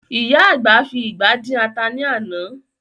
Ìyá àgbà fi ìgbá dín ata ní àná